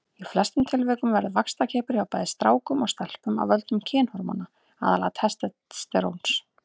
Í flestum tilvikum verður vaxtarkippur hjá bæði strákum og stelpum af völdum kynhormóna, aðallega testósteróns.